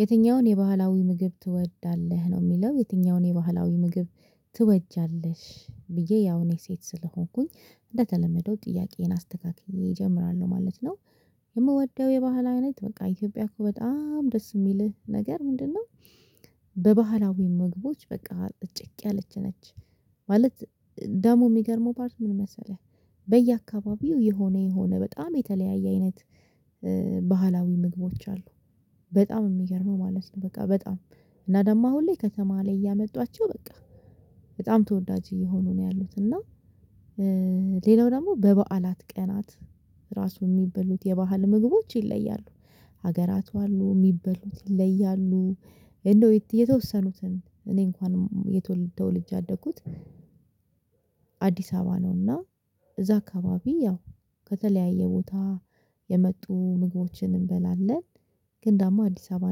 የትኛውን የባህላዊ ምግብ ትወዳለህ ነው? የሚለው የትኛውን የባህላዊ ምግብ ትወጃለሽ ብዬ ያው እኔ ሴት ስለሆንኩኝ እንደተለመደው ጥያቄዬን አስተካክዬ እጀምራለሁ ማለት ነው። የምወደው የባህል አይነት በቃ ኢትዮጵያ እኮ በጣም ደስ የሚልህ ነገር ምንድነው? በባህላዊ መግቦች በቃ እጨቅ ያለች ነች። ማለት ደሞ የሚገርመው ፓርት ምን መሰለህ? በየአካባቢው የሆነ የሆነ በጣም የተለያየ አይነት ባህላዊ ምግቦች አሉ። በጣም የሚገርመው ማለት ነው በቃ በጣም እና ደግሞ አሁን ላይ ከተማ ላይ እያመጧቸው በቃ በጣም ተወዳጅ እየሆኑ ነው ያሉት እና። ሌላው ደግሞ በበዓላት ቀናት ራሱ የሚበሉት የባህል ምግቦች ይለያሉ። ሀገራቱ አሉ የሚበሉት ይለያሉ። እንደው የተወሰኑትን እኔ እንኳን የተወለደው ተወልጄ ያአደኩት አዲስ አበባ ነውና እዛ አካባቢ ያው ከተለያየ ቦታ የመጡ ምግቦችን እንበላለን። ግን ደግሞ አዲስ አበባ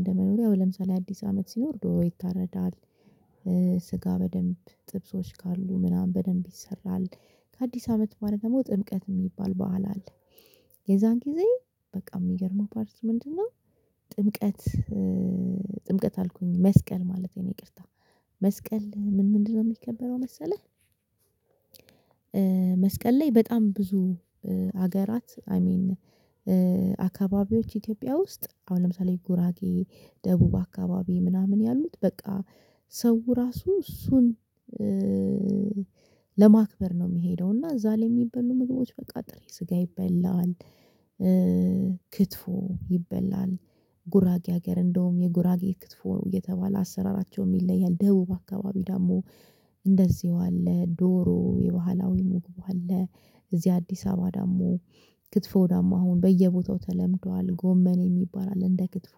እንደመኖሪያው ለምሳሌ አዲስ አመት ሲኖር ዶሮ ይታረዳል። ስጋ በደንብ ጥብሶች ካሉ ምናምን በደንብ ይሰራል። ከአዲስ አመት በኋላ ደግሞ ጥምቀት የሚባል በዓል አለ። የዛን ጊዜ በቃ የሚገርመው ፓርት ምንድነው? እና ጥምቀት ጥምቀት አልኩኝ መስቀል ማለቴ ነው ይቅርታ። መስቀል ምን ምንድነው? የሚከበረው መሰለህ መስቀል ላይ በጣም ብዙ አገራት አይ ሚን አካባቢዎች ኢትዮጵያ ውስጥ አሁን ለምሳሌ ጉራጌ ደቡብ አካባቢ ምናምን ያሉት በቃ ሰው ራሱ እሱን ለማክበር ነው የሚሄደው እና እዛ ላይ የሚበሉ ምግቦች በቃ ጥሬ ስጋ ይበላል። ክትፎ ይበላል። ጉራጌ ሀገር እንደውም የጉራጌ ክትፎ ነው እየተባለ አሰራራቸው የለያል ደቡብ አካባቢ ደግሞ እንደዚሁ አለ ዶሮ የባህላዊ ምግቡ አለ። እዚህ አዲስ አበባ ደግሞ ክትፎ ደግሞ አሁን በየቦታው ተለምዷል ጎመኔ የሚባል አለ እንደክትፎ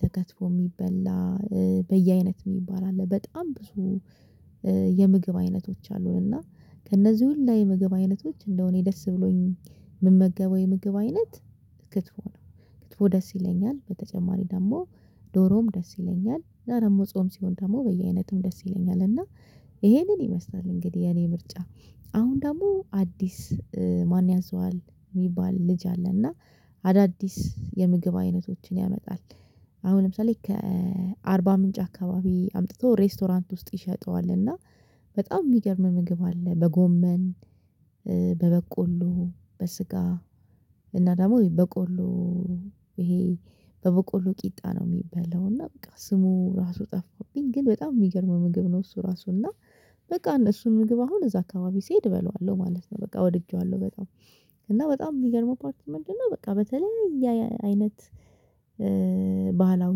ተከትፎ የሚበላ በየአይነት የሚባል አለ በጣም ብዙ የምግብ አይነቶች አሉን። እና ከእነዚህ ሁላ የምግብ አይነቶች እንደው እኔ ደስ ብሎኝ የምመገበው የምግብ አይነት ክትፉ ነው። ክትፎ ደስ ይለኛል በተጨማሪ ደግሞ ዶሮም ደስ ይለኛል። አና ጾም ሲሆን ደግሞ በየአይነቱም ደስ ይለኛል። እና ይሄንን ይመስላል እንግዲህ የኔ ምርጫ አሁን ደግሞ አዲስ ማን ያዘዋል የሚባል ልጅ አለና አዳዲስ የምግብ አይነቶችን ያመጣል። አሁን ለምሳሌ ከአርባ ምንጭ አካባቢ አምጥቶ ሬስቶራንት ውስጥ ይሸጠዋል እና በጣም የሚገርም ምግብ አለ። በጎመን በበቆሎ በስጋ እና ደግሞ በቆሎ ይሄ በበቆሎ ቂጣ ነው የሚበላው እና በቃ ስሙ ራሱ ጠፋብኝ ግን በጣም የሚገርም ምግብ ነው። እሱ ራሱ እና በቃ እነሱን ምግብ አሁን እዛ አካባቢ ስሄድ እበለዋለሁ ማለት ነው በቃ ወድጄዋለሁ። በጣም እና በጣም የሚገርመው ፓርት ምንድነው? በቃ በተለያየ አይነት ባህላዊ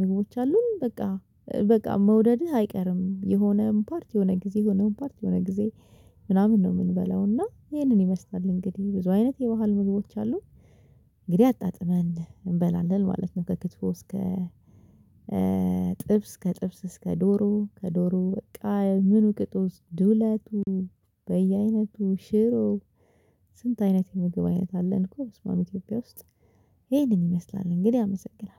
ምግቦች አሉን። በቃ መውደድህ አይቀርም የሆነን ፓርት የሆነ ጊዜ የሆነን ፓርት የሆነ ጊዜ ምናምን ነው የምንበላው እና ይሄንን ይመስላል እንግዲህ ብዙ አይነት የባህል ምግቦች አሉ። እንግዲህ አጣጥመን እንበላለን ማለት ነው። ከክትፎ እስከ ጥብስ ከጥብስ እስከ ዶሮ ከዶሮ በቃ ምን ቅጡ ዱለቱ በየአይነቱ ሽሮ ስንት አይነት የምግብ አይነት አለ? አልኩ መስመአም ኢትዮጵያ ውስጥ ይሄንን ይመስላል እንግዲህ አመሰግናለሁ።